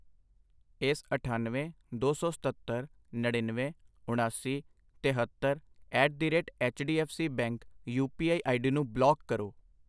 ਇਸ ਅਠਾਨਵੇਂ, ਦੋ ਸੌ ਸਤੱਤਰ, ਨੜਿਨਵੇਂ, ਉਣਾਸੀ, ਤੇਹੱਤਰ at the rate H D F C bank U P I ID ਨੂੰ ਬਲਾਕ ਕਰੋ I